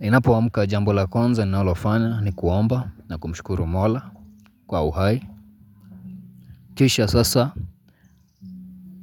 Ninapo amuka jambo la kwanza nalofanya ni kuomba na kumshukuru mola kwa uhai. Kisha sasa